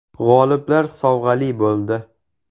G‘oliblar sovg‘ali bo‘ldi.